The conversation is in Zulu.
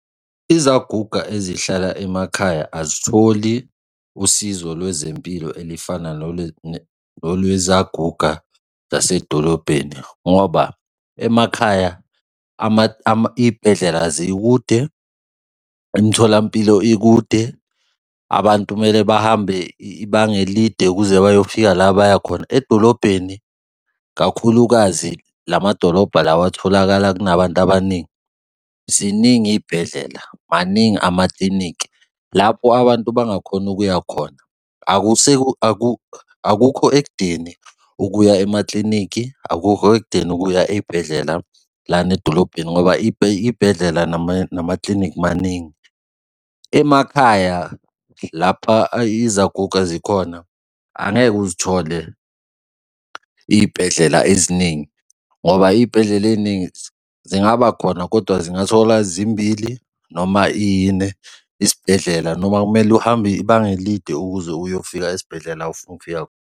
Izaguga ezihlala emakhaya azitholi usizo lwezempilo elifana nolwezaguga zasedolobheni, ngoba emakhaya iy'bhedlela zikude, imitholampilo ikude, abantu kumele bahambe ibanga elide ukuze bayofika la baya khona. Edolobheni kakhulukazi la madolobha lawa atholakala kunabantu abaningi, ziningi iy'bhedlela, maningi amakliniki, lapho abantu abangakhona ukuya khona akukho ekudeni ukuya emakliniki, akukho ekudeni ukuya ey'bhedlela lana edolobheni ngoba iy'bhedlela namakliniki maningi. Emakhaya lapha izaguga zikhona, angeke uzithole iy'bhedlela eziningi, ngoba iy'bhedlela ey'ningi zingaba khona kodwa zingathola zimbili noma iyine isibhedlela noma kumele uhambe ibanga elide ukuze uyofika esibhedlela ufuna ukufika.